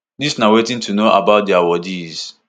dis na wetin to know about di awardees